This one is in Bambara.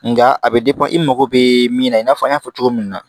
Nga a bɛ i mago bɛ min na i n'a fɔ n y'a fɔ cogo min na